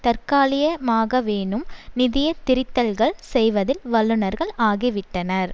தற்காலியமாகவேனும் நிதிய திரித்தல்கள் செய்வதில் வல்லுனர்கள் ஆகிவிட்டனர்